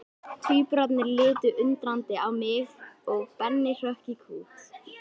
Tvíburarnir litu undrandi á mig og Benni hrökk í kút.